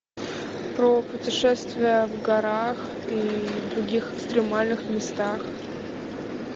про путешествия в горах и других экстремальных местах